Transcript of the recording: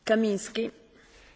Pani Przewodnicząca!